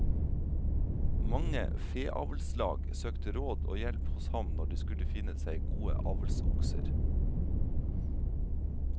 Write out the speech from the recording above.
Mange feavlslag søkte råd og hjelp hos ham når de skulle finne seg gode avlsokser.